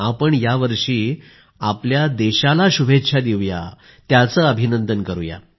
आपण यावर्षी आपल्या देशाला शुभेच्छा देऊया त्याचे अभिनंदन करूया